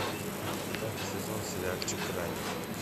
пятый сезон сериальчик грань